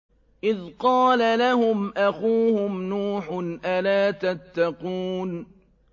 إِذْ قَالَ لَهُمْ أَخُوهُمْ نُوحٌ أَلَا تَتَّقُونَ